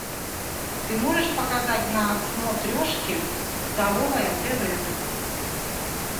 ты можешь показать на смотрешке здоровое тв